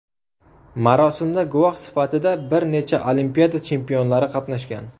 Marosimda guvoh sifatida bir necha Olimpiada chempionlari qatnashgan.